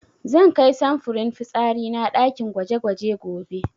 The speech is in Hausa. Zan kai samfurin fitsari na ɗakin gwaje-gwaje gobe.